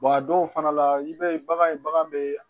a dɔw fana la i b'a ye bagan ye bagan bɛ